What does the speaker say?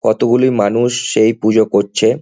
কতগুলি মানুষ সেই পূজা করছে।